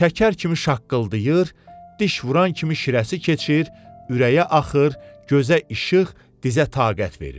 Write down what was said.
Şəkər kimi şaqqıldayır, diş vuran kimi şirəsi keçir, ürəyə axır, gözə işıq, dizə taqət verir.